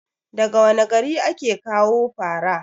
daga wane gari ake kawo fara?